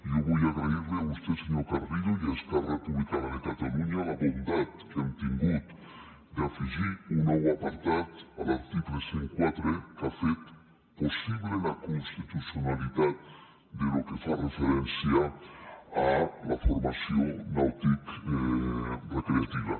jo vull agrair li a vostè senyor carrillo i a esquerra republicana de catalunya la bondat que han tingut d’afegir un nou apartat a l’article cent i quatre que ha fet possible la constitucionalitat del que fa referència a la formació nauticorecreativa